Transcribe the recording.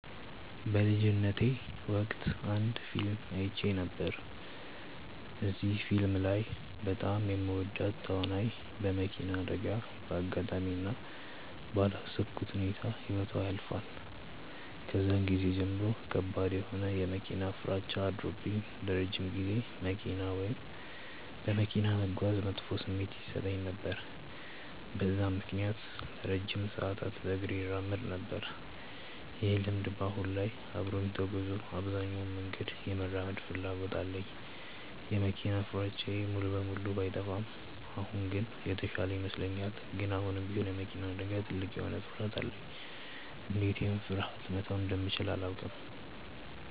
በልጅነቴ ወቅት አንድ ፊልም አይቼ ነበር። እዚህ ፊልም ላይ በጣም የምወዳት ተዋናይ በመኪና አደጋ በአጋጣሚ እና ባላሰብኩት ሁኔታ ህይወቷ ያልፋል። ከዛን ጊዜ ጀምሮ ከባድ የሆነ የመኪና ፍራቻ አድሮብኝ ለረጅም ጊዜ መኪና ወይም በመኪና መጓዝ መጥፎ ስሜት ይሰጠኝ ነበር። በዛም ምክንያት ለረጅም ሰዓታት በእግሬ እራመድ ነበር። ይህ ልምድ በአሁን ላይ አብሮኝ ተጉዞ አብዛኛውን መንገድ የመራመድ ፍላጎት አለኝ። የመኪና ፍራቻዬ ሙሉ በሙሉ ባይጠፋም አሁን ግን የተሻለ ይመስለኛል። ግን አሁንም ቢሆን የመኪና አደጋ ትልቅ የሆነ ፍርሀት አለኝ። እንዴት ይህን ፍርሀቴ መተው እንደምችል አላውቅም።